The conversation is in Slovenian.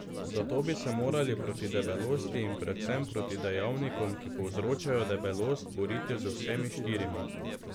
Zato bi se morali proti debelosti in predvsem proti dejavnikom, ki povzročajo debelost, boriti z vsemi štirimi.